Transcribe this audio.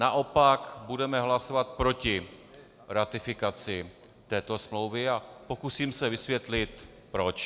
Naopak budeme hlasovat proti ratifikaci této smlouvy a pokusím se vysvětlit proč.